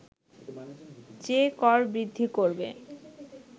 যে কর বৃদ্ধি করবে